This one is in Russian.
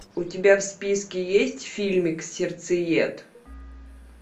у тебя в списке есть фильмик сердцеед